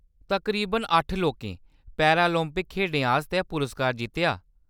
तकरीबन अट्ठ लोकें पैरालिंपिक खेढें आस्तै पुरस्कार जित्तेआ।